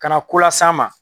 Kana ko las'a ma.